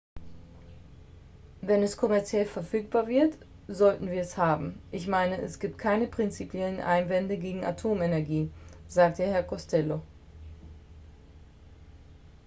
"""wenn es kommerziell verfügbar wird sollten wir es haben. ich meine es gibt keine prinzipiellen einwände gegen atomenergie" sagte herr costello.